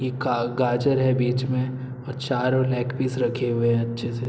ये गाजर है बीच में और चारो लेग पीस रखे हुए है अच्छे से --